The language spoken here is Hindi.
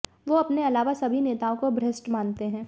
वो अपने अलावा सभी नेताओं को भ्रष्ट मानते हैं